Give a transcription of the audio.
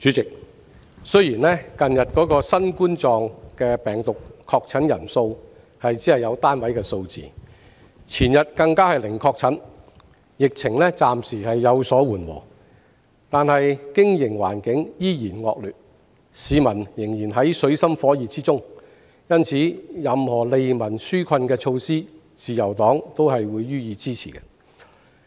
主席，雖然近日新型冠狀病毒的確診人數只有單位數字，前日更是零確診，疫情暫時有所緩和，但經營環境依然惡劣，市民仍然在水深火熱中，因此，任何利民紓困的措施，自由黨都會予以支持。